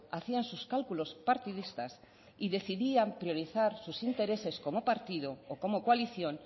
hacían sus cálculos partidistas y decidían priorizar sus intereses como partido o como coalición